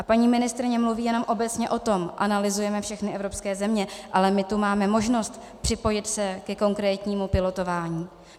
A paní ministryně mluví jenom obecně o tom, analyzujeme všechny evropské země, ale my tu máme možnost připojit se ke konkrétnímu pilotování.